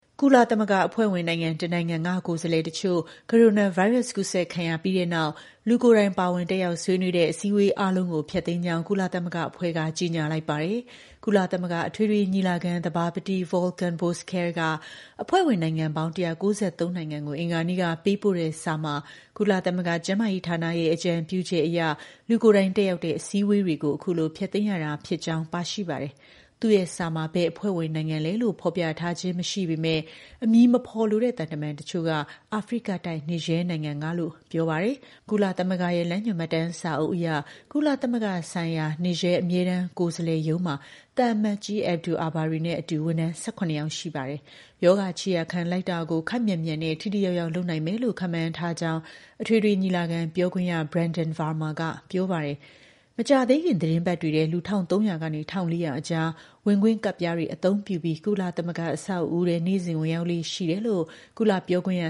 ကုလသမဂ္ဂ အဖွဲ့ဝင်နိုင်ငံ တစ်နိုင်ငံက ကိုယ်စားလှယ်တချို့ ကိုရိုနာဗိုင်းရပ်စ် ကူးစက်ခံရပြီးတဲ့နောက် လူကိုယ်တိုင် ပါဝင်တက်ရောက် ဆွေးနွေးတဲ့ အစည်းအဝေး အားလုံးကို ဖျက်သိမ်းကြောင်း ကုလသမဂ္ဂအဖွဲ့က ကြေညာလိုက်ပါတယ်။ ကုလသမဂ္ဂ အထွေထွေ ညီလာခံ သဘာပတိ Volkan Bozkir က အဖွဲ့ဝင် နိုင်ငံ ၁၉၃ နိုင်ငံကို အင်္ဂါနေ့က ပေးပို့တဲ့စာမှာ ကုလ သမဂ္ဂ ကျန်းမာရေးဌာနရဲ့ အကြံပြုချက်အရ လူကိုယ်တိုင်တက်ရောက်တဲ့ အစည်းအဝေးတွေကို အခုလို ဖျက်သိမ်းရတာ ဖြစ်ကြောင်း ပါရှိပါတယ်။ သူ့ရဲ့ စာမှာ ဘယ် အဖွဲ့ဝင်နိုင်ငံလည်းလို့ ဖော်ပြထားခြင်း မရှိပေမဲ့ အမည်မဖော်လိုတဲ့ သံတမန် တချို့က အာဖရိကတိုက်က Niger နိုင်ငံကလို့ ပြောပါတယ်။ ကုလသမဂ္ဂရဲ့ လမ်းညွှန်မှတ်တမ်းစာအုပ်အရ ကုလသမဂ္ဂဆိုင်ရာ Niger အမြဲတမ်း ကိုယ်စားလှယ် ရုံးမှာသံအမတ်ကြီး Abdou Abarry နဲ့အတူ ဝန်ထမ်း ၁၇ ယောက် ရှိပါတယ်။ ရောဂါ ခြေရာခံလိုက်တာကို ခပ်မြန်မြန်နဲ့ ထိထိရောက်ရောက် လုပ်နိုင်မယ်လို့ ခန့်မှန်းထားတယ်လို့ အထွေထွေ ညီလာခံ ပြောခွင့်ရ Brenden Varma က ပြောပါတယ်။ မကြာသေးခင် သီတင်းပတ်တွေထဲ လူ ၁,၃၀၀ ကနေ ၁,၄၀၀ အကြား ဝင်ခွင့်ကဒ်ပြားတွေအသုံးပြုပြီး ကုလသမဂ္ဂ အဆောက်အဦးထဲ နေ့စဉ် ဝင်ရောက်လေ့ရှိတယ်လို့လည်း ကုလ ပြောခွင့်ရ